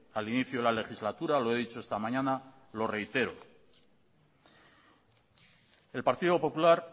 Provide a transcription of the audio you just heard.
al inicio de la legislatura lo he dicho esta mañana lo reitero el partido popular